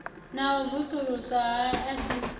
na u vusuluswa ha aisentsi